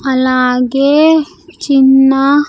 అలాగే చిన్న--